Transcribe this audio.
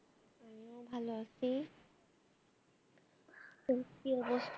ভালো আছি তোর কি অবস্থা?